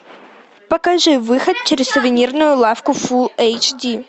покажи выход через сувенирную лавку фул эйч ди